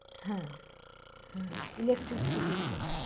হ্যাঁ হম electric scooty গুলো,